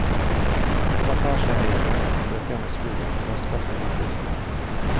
Plantasjeeierne ønsker å fjerne skogen for å skaffe jordbruksland.